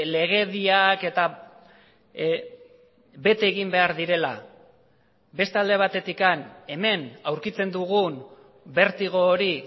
legediak eta bete egin behar direla beste alde batetik hemen aurkitzen dugun bertigo hori